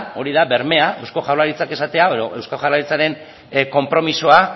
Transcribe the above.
hori da bermea eusko jaurlaritzak esatea edo eusko jaurlaritzaren konpromisoa